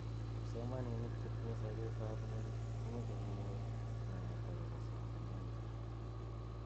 Kipsomaninik chetinye sabet ab ng'uny komeche konyor naet akobo somanenyi.